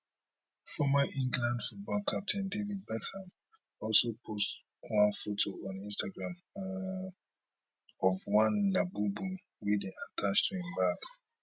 former england football captain david beckham also post one photo on instagram um of one labubu wey dey attached to im bag